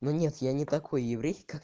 но нет я не такой еврей как